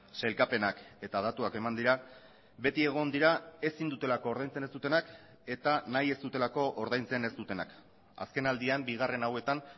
sailkapenak eta datuak eman dira beti egon dira ezin dutelako ordaintzen ez dutenak eta nahi ez dutelako ordaintzen ez dutenak azken aldian bigarren hauetan